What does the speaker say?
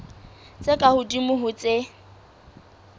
tse ka hodimo ho tse